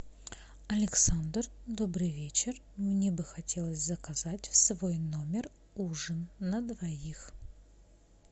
александр добрый вечер мне бы хотелось заказать в свой номер ужин на двоих